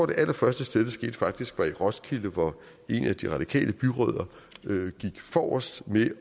det allerførste sted det skete faktisk var i roskilde hvor en af de radikale byrødder gik forrest ved